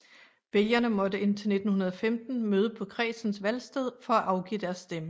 Vælgerne måtte indtil 1915 møde på kredsens valgsted for at afgive deres stemme